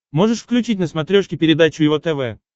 можешь включить на смотрешке передачу его тв